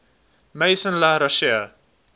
maison la roche